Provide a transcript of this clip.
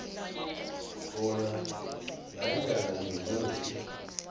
bona nanyana ngimuphi